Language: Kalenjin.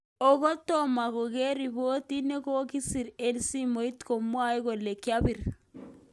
Okot toma konger ripotit nekokisir en simoit chemwae kole kiapir